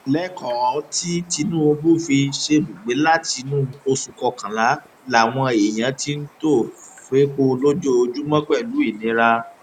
lẹkọọ tí tinubu fi ṣèbúgbè látinú oṣù kọkànlá làwọn èèyàn ti ń tò fẹpọ lójoojúmọ pẹlú ìnira